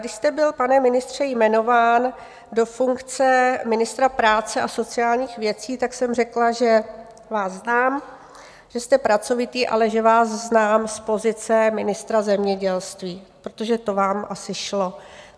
Když jste byl, pane ministře, jmenován do funkce ministra práce a sociálních věcí, tak jsem řekla, že vás znám, že jste pracovitý, ale že vás znám z pozice ministra zemědělství, protože to vám asi šlo.